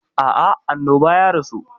A'a, a annoba ya rasu.